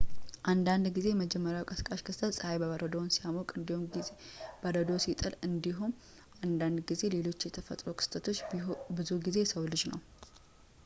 አንዳንድ ጊዜ የመጀመሪያው ቀስቃሽ ክስተት ፀሐይ በረዶውን ሲያሞቅ አንዳንድ ጊዜ ብዙ በረዶ ሲጥል አንዳንድ ጊዜ ሌሎች የተፈጥሮ ክስተቶች ብዙውን ጊዜ የሰው ልጅ ነው